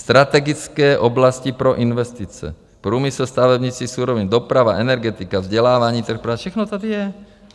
Strategické oblasti pro investice, průmysl, stavebnictví, suroviny, doprava, energetika, vzdělávání, trh práce.